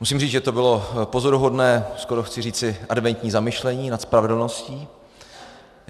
Musím říct, že to bylo pozoruhodné, skoro chci říci adventní zamyšlení nad spravedlností.